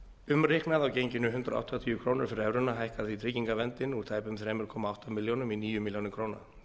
umreiknað á genginu hundrað áttatíu krónur fyrir evruna hækkar því tryggingaverndin úr tæpum þremur komma átta milljónum í níu milljónir króna